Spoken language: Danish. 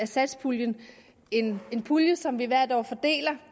satspuljen en pulje som vi hvert år fordeler